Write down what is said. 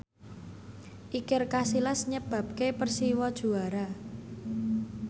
Iker Casillas nyebabke Persiwa juara